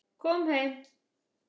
Kom heim!